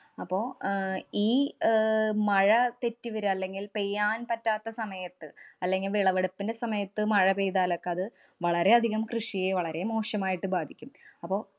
അപ്പൊ അഹ് ഈ അഹ് മഴ തെറ്റി വര്യ അല്ലെങ്കില്‍ പെയ്യാന്‍ പറ്റാത്ത സമയത്ത് അല്ലെങ്കില്‍ വിളവെടുപ്പിന്‍റെ സമയത്ത് മഴ പെയ്താലൊക്കെ അത് വളരെയധികം കൃഷിയെ വളരെ മോശമായിട്ട് ബാധിക്കും. അപ്പൊ